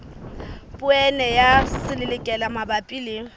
poone ya selelekela mabapi le